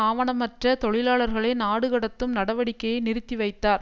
ஆவணமற்ற தொழிலாளர்களை நாடுகடத்தும் நடவடிக்கையை நிறுத்தி வைத்தார்